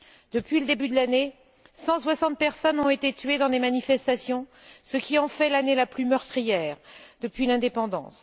Depuis le début de l'année, 160 personnes ont été tuées dans des manifestations, ce qui en fait l'année la plus meurtrière depuis l'indépendance.